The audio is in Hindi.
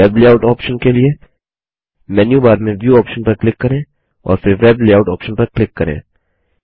वेब लेआउट ऑप्शन के लिए मेन्यूबार में व्यू ऑप्शन पर क्लिक करें और फिर वेब लेआउट ऑप्शन पर क्लिक करें